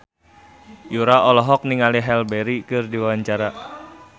Yura olohok ningali Halle Berry keur diwawancara